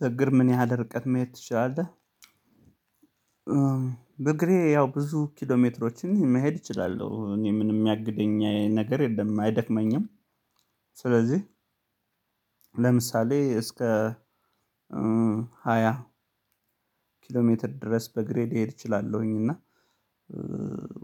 በእግር ምን ያህል ርቀት መሄድ ትችላለህ? በእግሬ ያው ብዙ ኪሎ ኪሎሜትሮችን መሄድ እችላለሁ። እኔ ምንም የሚያግደኝ ነገር የለም አይደክመኝም ስለዚህ ለምሳሌ እስከ ሃያ ኪሎሜትር ድረስ በእግሬ ልሔድ እችላለሁኝ እና